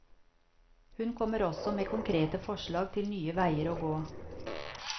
Hun kommer også med konkrete forslag til nye veier å gå.